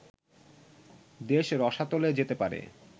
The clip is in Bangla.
দেশ রসাতলে যেতে পারে